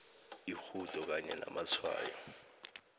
irhudo kanye namatshwayo